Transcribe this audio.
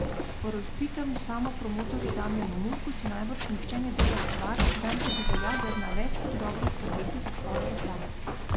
O razvpitem samopromotorju Damjanu Murku si najbrž nihče ne dela utvar, zanj tudi velja, da zna več kot dobro skrbeti za svojo reklamo.